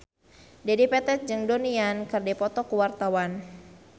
Dedi Petet jeung Donnie Yan keur dipoto ku wartawan